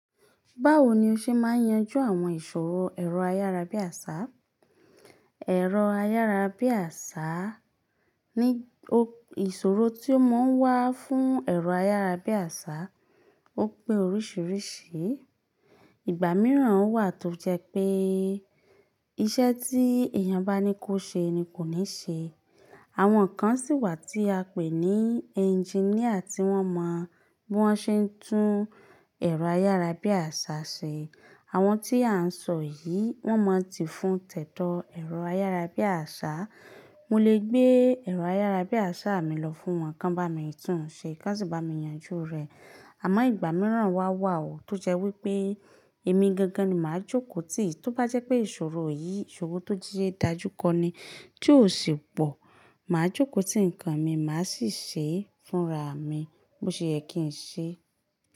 Báwo ni o ṣe máa yanjú àwọn ìṣòro ẹ̀rọ ayárabíàṣá? Ẹ̀rọ ayárabíàṣá ní o-- ìṣòro tí ó máa ń wá fún ẹ̀rọ ayárabíàṣá ó pé oríṣìíríṣìí. Ìgbà mìíràn wà tó jẹ́ pé iṣẹ́ tí èèyàn bá ní kó ṣe ni kò ní ṣe. Àwọn kan sì wà tí a ń pè ní ẹ́ńjìníà tí wọ́n mọ bí wọ́n ṣe ń tún ẹ̀rọ ayárabíàṣá ṣe. Àwọn tí à ń sọ yìí, wọ́n máa ti fún tẹ̀dọ́ ẹ̀rọ ayárabíàṣá. Mo lè gbé ẹ̀rọ ayárabíàṣá mi lọ fún wọn kí wọn bá mi tún un ṣe, ko sì bá mi yanjú rẹ̀. Àmọ́ ìgbà mìíràn wá wà ó tó jẹ́ wí pé èmi gangan ni màá jókòó tì. Tó bá jẹ́ pé ìṣòro yìí, ìṣòro tó jíye dájú kọ́ ni tí ó sì pọ̀, màá jókòó tì nǹkan mi, màá sì ṣe é fúnra mi bó ṣe yé kí n ṣe.